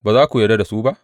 Ba za ku yarda da su ba?